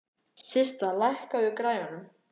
Systa, lækkaðu í græjunum.